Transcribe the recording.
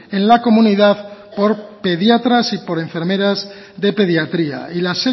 en la comunidad por pediatras y por enfermeras de pediatría y la